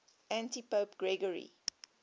antipope gregory